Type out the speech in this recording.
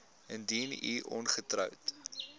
indien u ongetroud